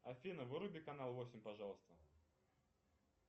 афина выруби канал восемь пожалуйста